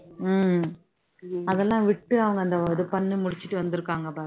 உம் அதெல்லாம் விட்டு அவங்க அந்த இது பண்ணி முடிச்சுட்டு வந்துருக்காங்க பாரு